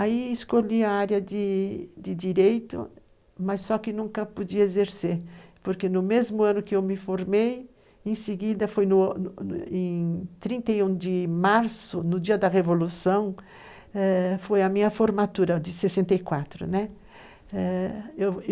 Aí escolhi a área de de Direito, mas só que nunca podia exercer, porque no mesmo ano que eu me formei, em seguida foi em 31 de março, no dia da Revolução, foi a eh minha formatura de 64, né?